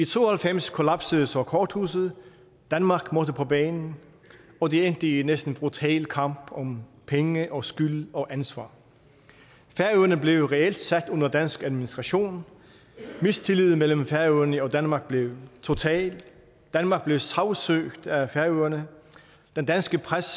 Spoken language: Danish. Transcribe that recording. to og halvfems kollapsede så korthuset danmark måtte på banen og det endte i næsten brutal kamp om penge og skyld og ansvar færøerne blev reelt sat under dansk administration mistilliden mellem færøerne og danmark blev total danmark blev sagsøgt af færøerne den danske presses